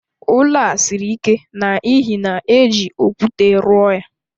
Ụlọ a siri ike n'ihi na éjị okwute rụọ ya